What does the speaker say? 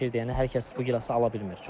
Yəni hər kəs bu gilası ala bilmir.